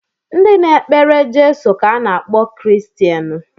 Ndị na-ekpere Jeso ka a na-akpọ Kiristeni